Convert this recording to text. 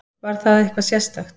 Var það eitthvað sérstakt?